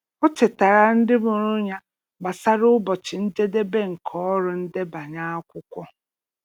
Ọ chetaara ndị mụrụ ya gbasara ụbọchị njedebe nke ọrụ ndebanye akwụkwọ.